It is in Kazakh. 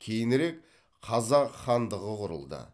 кейінірек қазақ хандығы құрылды